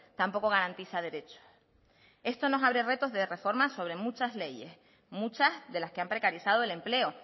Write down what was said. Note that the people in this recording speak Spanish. tampoco garantiza derecho esto nos abre retos de reformas sobre muchas leyes muchas de las que han precarizado el empleo